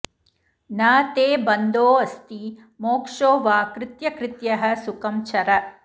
न ते बन्धोऽस्ति मोक्षो वा कृत्यकृत्यः सुखं चर